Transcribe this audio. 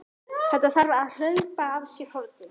Þetta þarf að hlaupa af sér hornin!